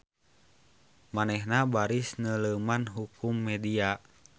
Manehna baris neuleuman hukum media.